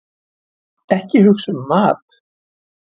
Ekki hugsa um mat!